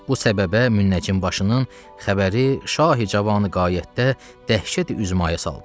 Bu səbəbə Münəccim başının xəbəri Şahi cavanı qayətdə dəhşəti üzmaya saldı.